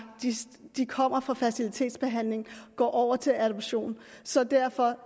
kommer fra fertilitetsbehandling og går over til adoption så derfor